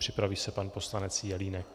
Připraví se pan poslanec Jelínek.